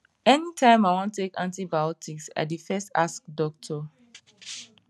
anytime i wan take antibiotics i dey first ask doctor